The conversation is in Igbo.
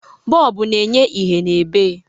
Bọlbụ na-enye ìhè n'ebe.